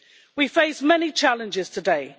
We face many challenges today.